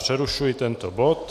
Přerušuji tento bod.